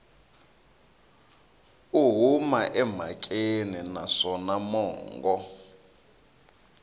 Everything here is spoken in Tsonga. u huma emhakeni naswona mongo